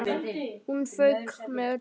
Hún fauk með öllu.